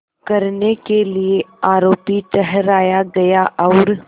करने के लिए आरोपी ठहराया गया और